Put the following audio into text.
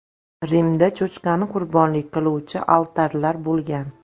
Rimda cho‘chqani qurbonlik qiluvchi altarlar bo‘lgan.